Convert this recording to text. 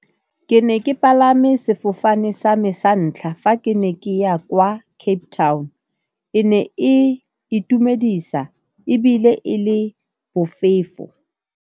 Ke ne ke palame sefofane sa me sa ntlha fa ke ne ke ya kwa Cape Town, e ne e itumedisa ebile e le bofefo.